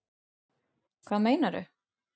Hvað meinarðu?